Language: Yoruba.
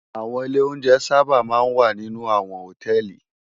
Áwòn ilé óunjè sàbá má n wá ninú áwòn hótèlí